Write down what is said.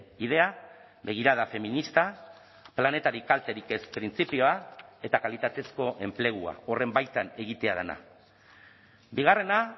idea begirada feminista planetari kalterik ez printzipioa eta kalitatezko enplegua horren baitan egitea dena bigarrena